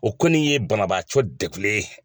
O kɔni ye banabaacɔ degulen ye.